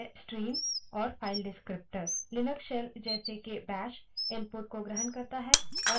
Linux shell जैसे के bash input को ग्रहण करता है और अनुक्रम के रूप या अक्षरों की streams में output भेजता है